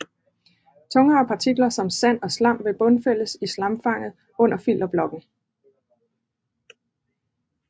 Tungere partikler som sand og slam vil bundfældes i slamfanget under filterblokken